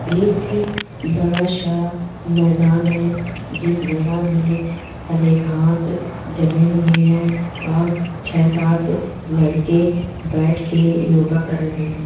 एक बड़ा सा मैदान है जिस मैदान मे हरे घास जमीन हुए है और छे-सात लकड़े बैठ के योगा कर रहे है।